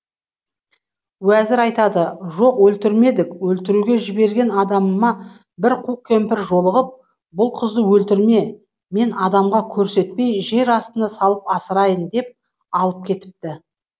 уәзір айтады жоқ өлтірмедік өлтіруге жіберген адамыма бір қу кемпір жолығып бұл қызды өлтірме мен адамға көрсетпей жер астына салып асырайын деп алып кетіпті